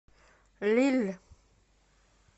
лилль